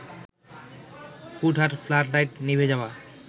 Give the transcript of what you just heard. হুটহাট flood light নিভে যাওয়া